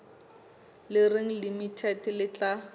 le reng limited le tla